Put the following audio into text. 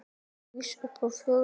Rís upp á fjóra fætur.